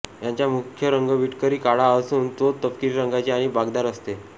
यांचा मुख्य रंग विटकरी काळा असून चोच तपकिरी रंगाची आणि बाकदार असते